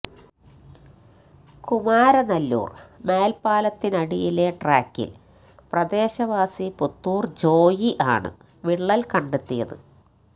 കുമാരനല്ലൂര് മേല്പാലത്തിനടിയിലെ ട്രാക്കില് പ്രദേശവാസി പുത്തൂര് ജോയി ആണ് വിള്ളല് കണ്ടെത്തിയത്